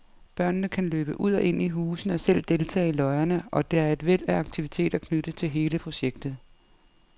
Børnene kan løbe ud og ind i husene og selv deltage i løjerne, og der er et væld af aktiviteter knyttet til hele projektet.